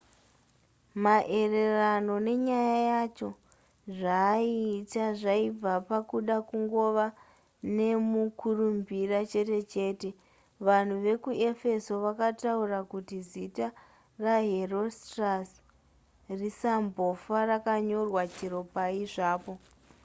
maererano nenyaya yacho zvaaiita zvaibva pakuda kungova nemukurumbira chete chete vanhu vekuefeso vakataura kuti zita raherostratus risambofa rakanyorwa chero pai zvapo